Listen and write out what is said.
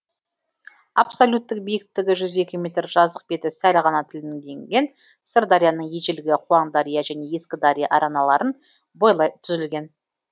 абсолюттік биіктігі жүз екі метр жазық беті сәл ғана тілімденген сырдарияның ежелгі қуаңдария және ескідария араналарын бойлай түзілген